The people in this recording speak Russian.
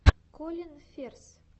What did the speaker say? колин ферз